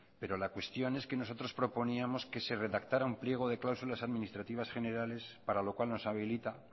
pero la cuestión es que nosotros proponíamos que se redactara un pliego de cláusulas administrativas generales para lo cual nos habilita